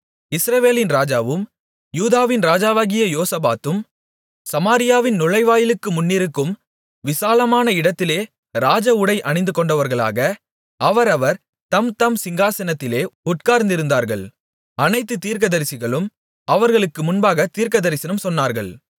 இஸ்ரவேலின் ராஜாவும் யூதாவின் ராஜாவாகிய யோசபாத்தும் சமாரியாவின் நுழைவாயிலுக்கு முன்னிருக்கும் விசாலமான இடத்திலே ராஜஉடை அணிந்துகொண்டவர்களாக அவரவர் தம்தம் சிங்காசனத்திலே உட்கார்ந்திருந்தார்கள் அனைத்து தீர்க்கதரிசிகளும் அவர்களுக்கு முன்பாகத் தீர்க்கதரிசனம் சொன்னார்கள்